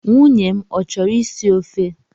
Nwunye m ọ chọrọ isi ofe?